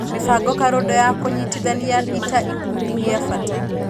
Mĩbango karũndo ya kũnyitithania ĩta-kindũ gĩa bata.